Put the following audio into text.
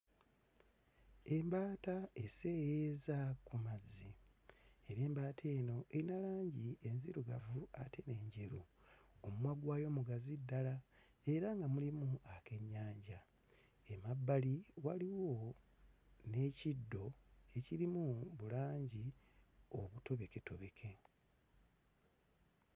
Embaata eseeyeeyeza ku mazzi era embaata eno eyina langi enzirugavu ate n'enjeru. Omumwa gwayo mugazi ddala era nga mulimu akennyanja. Emabbali waliwo n'ekiddo ekirimu bulangi obutobeketobeke.